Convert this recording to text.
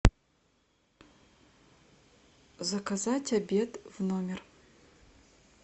заказать обед в номер